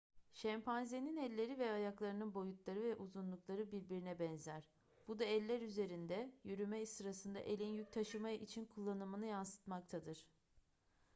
şempanzenin elleri ve ayaklarının boyutları ve uzunlukları birbirine benzer bu da eller üzerinde yürüme sırasında elin yük taşıma için kullanımını yansıtmaktadır